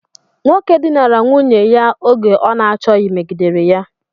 Nwoke dinara nwunye ya oge ọ n'achoghi megidere ya.